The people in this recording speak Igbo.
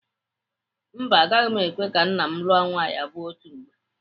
Mba, agaghị m ekwe ka nna m lụọ nwaanyị abụọ otu mgbe.